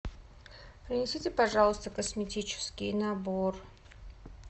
принесите пожалуйста косметический набор